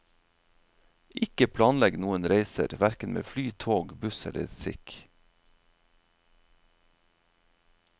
Ikke planlegg noen reiser, hverken med fly, tog, buss eller trikk.